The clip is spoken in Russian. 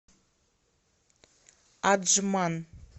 аджман